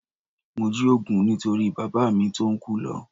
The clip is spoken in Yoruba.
Mo jí òògùn nítorí bàbá mi tó ń kú lọ